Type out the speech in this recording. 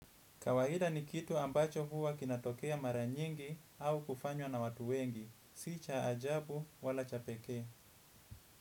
Kawaida ni kitu ambacho huwa kinatokea mara nyingi au kufanywa na watu wengi. Si cha ajabu wala cha pekee.